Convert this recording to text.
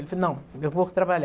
Ele falou, não, eu vou trabalhar.